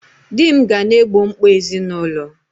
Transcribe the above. Di m ga na-egbo mkpa ezinụlọ